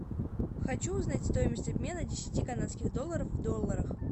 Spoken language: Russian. хочу узнать стоимость обмена десяти канадских долларов в долларах